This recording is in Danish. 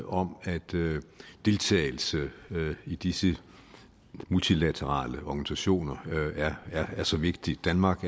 om at deltagelse i disse multilaterale organisationer er så vigtig danmarks